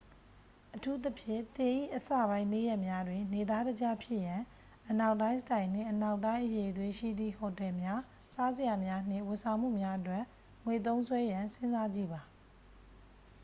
အထူးသဖြင့် သင်၏အစပိုင်းနေ့ရက်များတွင် နေသားတကျဖြစ်ရန် အနောက်တိုင်းစတိုင်နှင့် အနောက်တိုင်းအရည်အသွေးရှိသည့် ဟိုတယ်များ စားစရာများ နှင့် ဝန်ဆောင်မှုများအတွက် ငွေသုံးစွဲရန်စဉ်းစားကြည့်ပါ